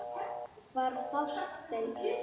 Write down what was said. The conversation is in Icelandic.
Hvar fást þeir?